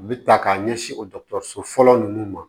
U bɛ ta k'a ɲɛsin o dɔgɔtɔrɔso fɔlɔ ninnu ma